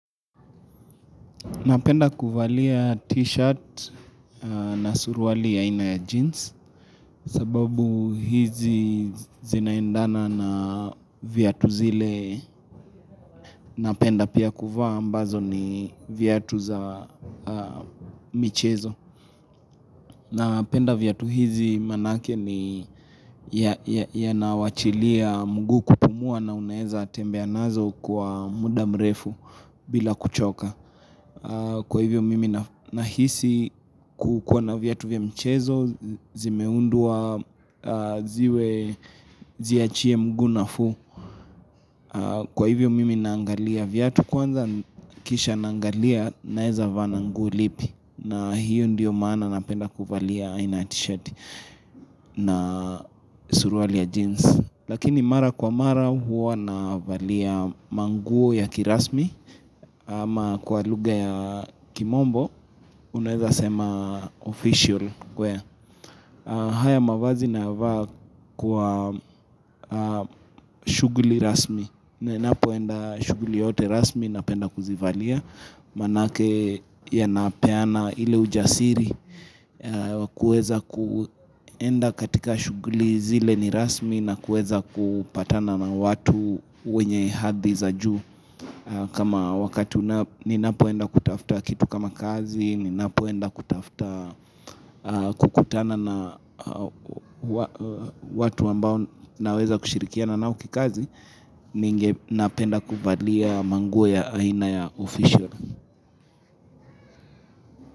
Napenda kuvalia t-shirt na surwali ya aina ya jeans sababu hizi zinaendana na viatu zile napenda pia kuva ambazo ni viatu za michezo. Napenda viatu hizi manake ni ya nawachilia mgu kupumua na uneza tembea nazo kwa muda mrefu bila kuchoka. Kwa hivyo mimi nahisi kukuwa na vyatu vya mchezo, zimeundua ziwe ziachie mguu nafu Kwa hivyo mimi naangalia vyatu kwanza kisha naangalia naeza vana nguo lipi na hiyo ndiyo maana napenda kufalia aina t-shirt na suruali ya jeans Lakini mara kwa mara huwa navalia manguo ya kirasmi Ama kwa luga ya kimombo, unaweza sema official kwe. Haya mavazi nava kwa shuguli rasmi. Nenapoenda shuguli yoyote rasmi napenda kuzivalia. Manake yanapeana ile ujasiri. Kueza kuenda katika shuguli zile ni rasmi na kueza kupatana na watu wenye hadhi za juu. Kama wakati ninapoenda kutaftaa kitu kama kazi, ninapoenda kutaftaa kukutana na watu ambao naweza kushirikia nao kikazi, ninge napenda kuvalia manguo ya aina ya official.